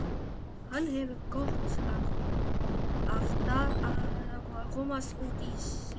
Hann hefur gott af að komast út í sólina.